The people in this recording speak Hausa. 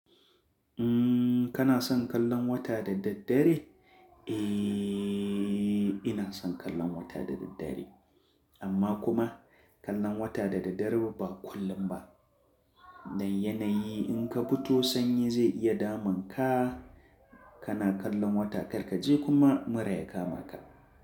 Umm, kana son kallon wata da daddare? Ehhh, ina son kallon wata da daddare. Amma kuma kallon wata da daddare ba kullum ba. Dan yanayi in ka fito sanyi zai iya damun ka. Kana kallon wata kar ka je kuma mura ya kama ka.